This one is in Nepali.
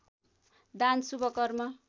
दान शुभ कर्म